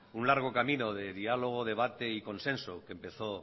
un largo camino de diálogo debate y consenso